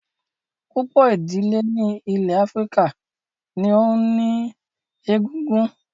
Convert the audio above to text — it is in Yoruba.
Púpọ̀ ìdílé ní ilẹ̀ Áfíríkà ní ohun ìní egungun